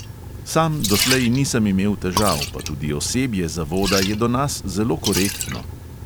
Sam doslej nisem imel težav, pa tudi osebje zavoda je do nas zelo korektno.